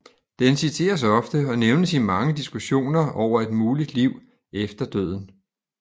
Den citeres ofte og nævnes i mange diskussioner over et muligt liv efter døden